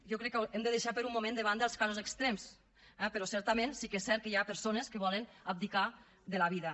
jo crec que hem de deixar per un moment de banda els casos extrems eh però certament sí que és cert que hi ha persones que volen abdicar de la vida